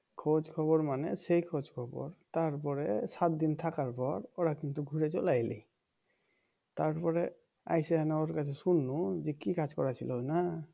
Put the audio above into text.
খোঁজ খবর মানে সেই খোঁজখবর তারপরে সাতদিন থাকার পর ওরা কিন্তু ঘুরে চলে আইল তারপরে আইসে ওর কাছে শুনলুম যে কি কাজ করাচ্ছিল না